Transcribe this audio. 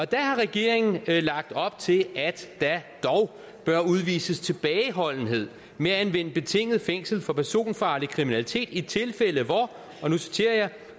der har regeringen lagt op til at der dog bør udvises tilbageholdenhed med at anvende betinget fængsel for personfarlig kriminalitet i tilfælde hvor og nu citerer jeg